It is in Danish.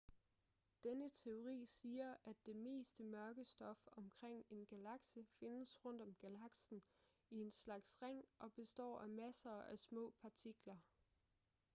denne teori siger at det meste mørke stof omkring en galakse findes rundt om galaksen i en slags ring og består af masser af små partikler